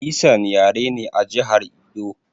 Esan yare ne a jihar Edo